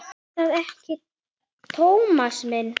Er það ekki, Tómas minn?